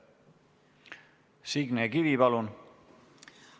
Signe Kivi, palun!